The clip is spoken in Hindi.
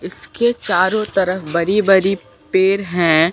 इसके चारों तरफ बड़ी बड़ी पेड़ हैं।